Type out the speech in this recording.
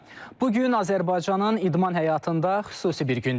Bu gün Azərbaycanın idman həyatında xüsusi bir gündür.